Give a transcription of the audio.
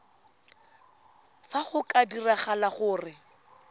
fa go ka diragala gore